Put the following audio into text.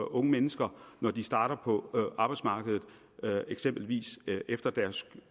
unge mennesker når de starter på arbejdsmarkedet eksempelvis efter deres